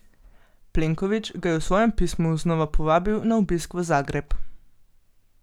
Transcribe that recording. Plenković ga je v svojem pismu znova povabil na obisk v Zagreb.